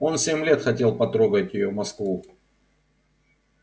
он семь лет хотел потрогать её москву